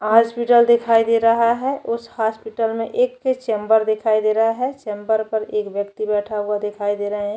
Hospital दिखाई दे रहा है उस हॉस्पिटल में एक चेम्बर दिखाई दे रहा है चेम्बर पर एक व्यक्ति बैठा हुआ दिखाई दे रहा है।